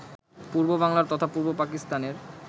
পূর্ব বাংলার তথা পূর্ব পাকিস্তানের